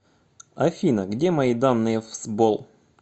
афина где мои данные в сбол